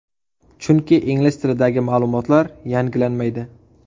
Chunki, ingliz tilidagi ma’lumotlar yangilanmaydi.